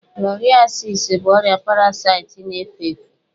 Filariasis bụ ọrịa parasaịtị na-efe efe